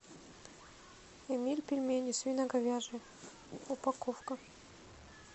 эмиль пельмени свино говяжьи упаковка